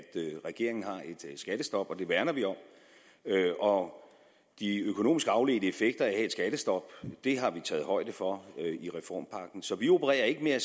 regeringen har et skattestop og det værner vi om og de økonomiske afledte effekter af et skattestop har vi taget højde for i reformpakken så vi opererer ikke med at